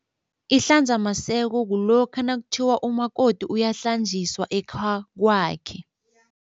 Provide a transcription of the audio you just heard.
Ihlanzamaseko kulokha nakuthiwa umakoti uyahlanjiswa ekhakwakhe.